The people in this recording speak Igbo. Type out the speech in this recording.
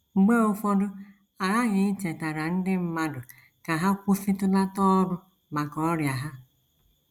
Mgbe ụfọdụ a ghaghị ichetara ndị mmadụ ka ha kwụsịtụlata ọrụ maka ọrịa ha. ”